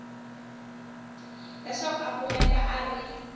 leswaku a kumeka a ri